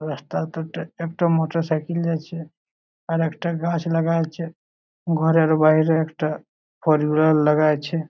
রাস্তা দুটা একটা মোটরসাইকেল জাইছে আর একটা গাছ লাগা আছে ঘরের বাইরে একটা লাগাইছে।